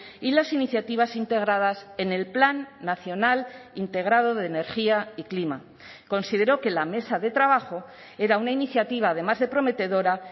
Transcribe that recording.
y las iniciativas integradas en el plan nacional integrado de energía y clima consideró que la mesa de trabajo era una iniciativa además de prometedora